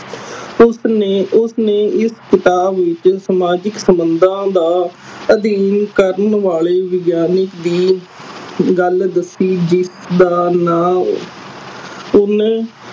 ਉਸਨੇ ਉਸਨੇ ਇਸ ਕਿਤਾਬ ਵਿਚ ਸਮਾਜਿਕ ਸੰਬੰਦਾ ਦਾ ਅਧੀਨ ਕਰਨ ਵਾਲੇ ਵਿਗਿਆਨਿਕ ਦੀ ਗੱਲ ਦੱਸੀ ਜਿਸਦਾ ਨਾ ਓਹਨੇ